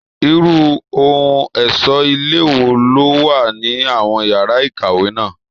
Irú ohun ẹ̀ṣọ́ ilé wo ló wà ní àwọn yàrá ìkàwé náà?